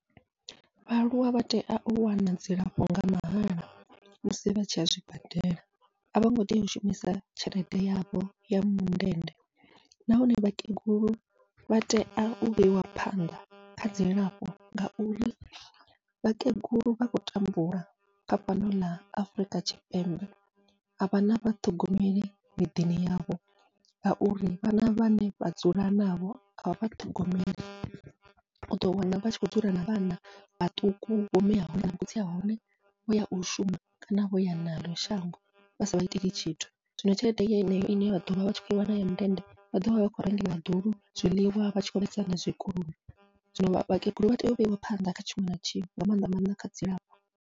Vhaaluwa vha tea u wana dzilafho nga mahala musi vha tshiya zwibadela, a vhongo tea u shumisa tshelede yavho ya mundende nahone vhakegulu vha tea u vheiwa phanḓa kha dzilafho ngauri vhakegulu vha khou tambula kha fhano ḽa Afurika Tshipembe avha na vha ṱhogomeli miḓini yavho, ngauri vhana vhane vha dzula navho avha vha ṱhogomeli uḓo wana vhatshi khou dzula na vhana vhaṱuku vho mia hone vho khotsi ahone vhoya u shuma kana vhoya naḽo shango vha sa vha iteli tshithu. Zwino tshelede yeneyo ine vha ḓovha vha tshi kho i wana ya mundende vha ḓovha vhatshi khou rengela vhaḓulu zwiḽiwa, vha tshi khou vhaisa na zwikoloni zwino vhakegulu vha tea u vheiwa phanḓa kha tshiṅwe na tshiṅwe nga maanḓa maanḓa kha dzilafho.